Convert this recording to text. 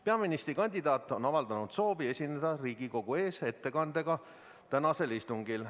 Peaministrikandidaat on avaldanud soovi esineda Riigikogu ees ettekandega tänasel istungil.